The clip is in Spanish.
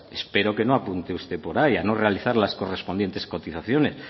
espero que no apunte usted por ahí a no realizar las correspondientes cotizaciones